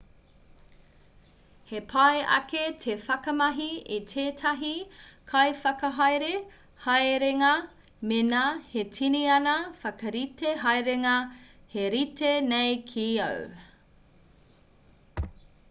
he pai ake te whakamahi i tētahi kaiwhakahaere haerenga mēnā he tini ana whakarite haerenga he rite nei ki āu